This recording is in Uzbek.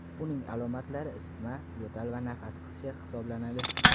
Uning alomatlari isitma, yo‘tal va nafas qisishi hisoblanadi.